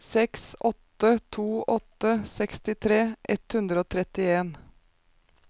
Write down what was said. seks åtte to åtte sekstitre ett hundre og trettien